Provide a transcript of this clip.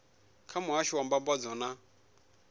kha muhasho wa mbambadzo na